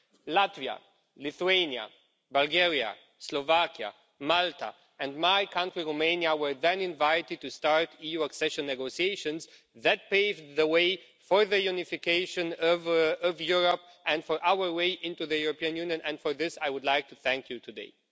Latvia, Lithuania, Bulgaria, Slovakia, Malta and my country, Romania, were then invited to start EU accession negotiations that paved the way for the unification of Europe and for our way into the European Union and for this I would like to thank you today.